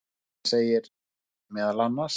Þarna segir meðal annars: